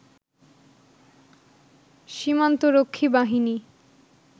সীমান্তরক্ষী বাহিনী